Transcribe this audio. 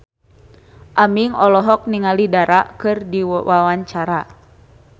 Aming olohok ningali Dara keur diwawancara